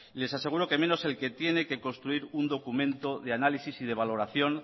les aseguro que menos el que tiene que construir un documento de análisis y de valoración